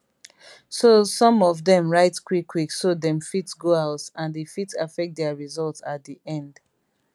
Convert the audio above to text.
so some of dem write quick quick so dem fit go house and e fit affect dia results at di end